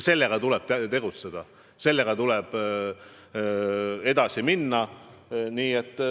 Meil tuleb tegutseda, selle teemaga tuleb edasi minna.